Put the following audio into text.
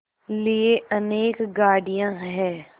लिए अनेक गाड़ियाँ हैं